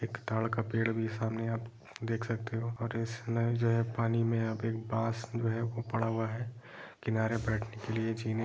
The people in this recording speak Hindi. एक ताड़ का पेड़ भी सामने आप देख सकते हो और इसमें जो है पानी में यहाँ पे एक बांस जो है वो पड़ा हुआ है किनारे बैठने के लिए जीने --